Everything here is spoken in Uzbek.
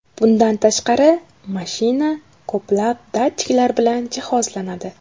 Bundan tashqari, mashina ko‘plab datchiklar bilan jihozlanadi.